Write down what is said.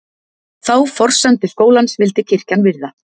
Þá forsendu skólans vildi kirkjan virða